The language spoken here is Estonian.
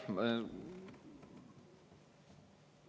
Aitäh!